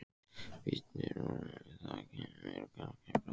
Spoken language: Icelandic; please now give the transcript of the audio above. Bíddu rólegur. það kemur kannski bráðum.